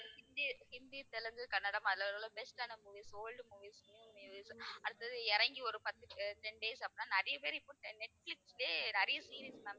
ஹிந்தி, ஹிந்தி, தெலுங்கு, கன்னடம் அதுல உள்ள best ஆன movies, old movies, new movies அடுத்தது இறங்கி ஒரு பத்து அஹ் ten days நிறைய பேர் இப்போ அஹ் நெட்பிலிஸ்லயே நிறைய series ma'am